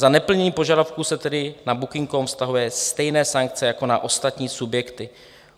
Za neplnění požadavků se tedy na Booking.com vztahují stejné sankce jako na ostatní subjekty.